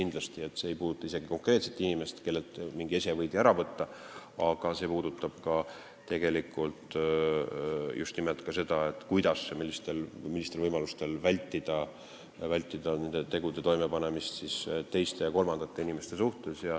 See ei puuduta isegi ainult konkreetset inimest, kellelt mingi ese võidi ära võtta, see puudutab tegelikult ka seda, kuidas ja millistel võimalustel saab vältida nende tegude toimepanemist teiste ja kolmandate inimeste suhtes.